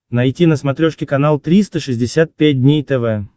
найти на смотрешке канал триста шестьдесят пять дней тв